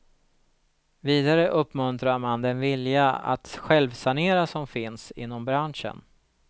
Vidare uppmuntrar man den vilja att självsanera som finns inom branschen.